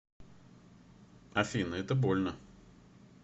афина это больно